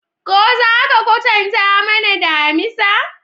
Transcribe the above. Ko za ka kwatanta mana damisa?